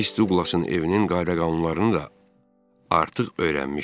Miss Duqlasın evinin qayda-qanunlarını da artıq öyrənmişdim.